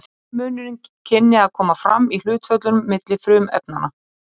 eini munurinn kynni að koma fram í hlutföllunum milli frumefnanna